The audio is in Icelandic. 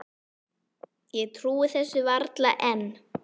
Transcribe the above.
Ég trúi þessu varla enn.